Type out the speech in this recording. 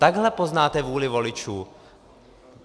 Takhle poznáte vůli voličů.